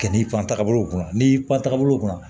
K'i fan taa ka bolow kunna n'i pan tagabolo kun na